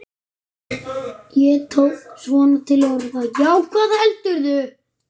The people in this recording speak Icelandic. Ég tók svona til orða.